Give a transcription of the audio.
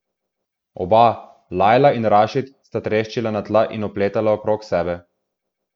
Oba, Lajla in Rašid, sta treščila na tla in opletala okrog sebe.